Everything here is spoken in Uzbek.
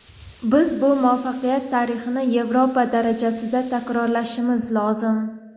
Biz bu muvaffaqiyat tarixini Yevropa darajasida takrorlashimiz lozim.